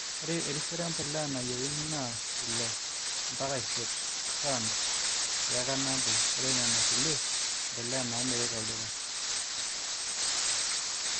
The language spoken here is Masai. ore erisioro empolea nayieuni naa 6-8 tons teeka nabo. ore nena kulie mpolea naamirri tolduka.